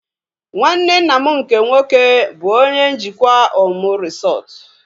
Nwanne nna m nke nwoke bụ onye njikwa Omu resọtu